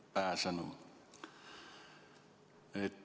Hea pääsenu!